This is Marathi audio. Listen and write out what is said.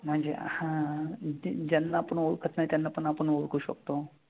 म्हनजे हां ज्यांना पन ओळखत नाई त्यांना पन आपन ओळखू शकतो